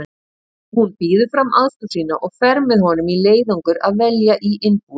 Hún býður fram aðstoð sína og fer með honum í leiðangur að velja í innbúið